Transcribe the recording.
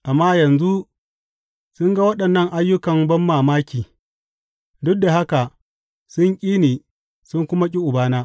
Amma yanzu sun ga waɗannan ayyukan banmamaki, duk da haka sun ƙi ni sun kuma ƙi Ubana.